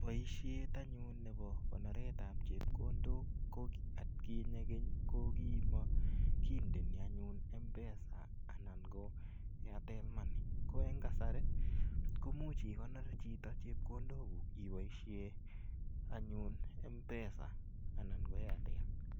Poishet anyun nepo konoret ap chepkondok atkinye keny ko kimakindeni anyun mpesa anan ko Airtel money. Ko eng' kasari ko imuch ikonor chito chepkondok ipoishe Mpesa anan ko Airtel.